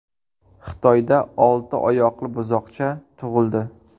Xitoyda olti oyoqli buzoqcha tug‘ildi .